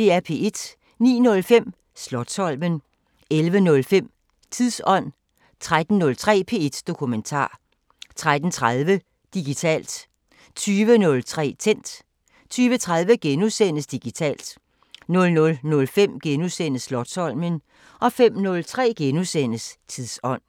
09:05: Slotsholmen 11:03: Tidsånd 13:03: P1 Dokumentar 13:30: Digitalt 20:03: Tændt 20:30: Digitalt * 00:05: Slotsholmen * 05:03: Tidsånd *